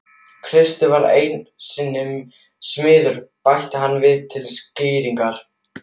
Kristur var einu sinni smiður bætti hann við til skýringar.